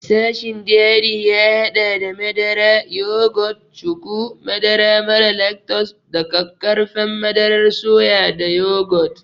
Sashin dairy ya haɗa da madara, yogurt, cuku, madara mara lactose da ƙaƙƙarfan madarar soya da yogurt.